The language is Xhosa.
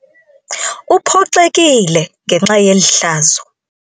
Uphoxekile ngenxa yeli hlazo.